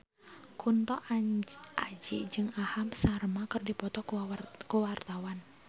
Kunto Aji jeung Aham Sharma keur dipoto ku wartawan